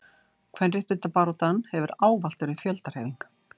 kvenréttindabaráttan hefur ávallt verið fjöldahreyfing